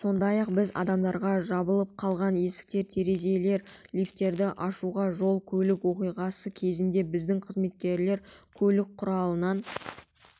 сондай-ақ біз адамдарға жабылып қалған есіктер терезелер лифттерді ашуға жол-көлік оқиғасы кезінде біздің қызметкерлер көлік құралынан